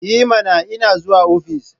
I mana! Ina zuwa ofis.